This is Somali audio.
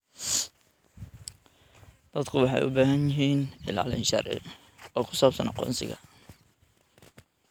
Dadku waxay u baahan yihiin ilaalin sharci oo ku saabsan aqoonsiga.